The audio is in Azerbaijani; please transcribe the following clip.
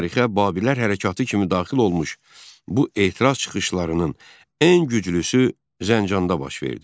Tarixə Babillər hərəkatı kimi daxil olmuş bu etiraz çıxışlarının ən güclüsü Zəncanda baş verdi.